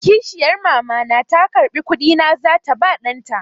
Kishiyar Mama na ta karɓi kuɗi na za ta ba ɗan ta.